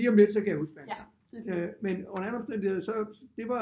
Lige om lidt så kan jeg huske hans navns men under alle omstændigheder så det var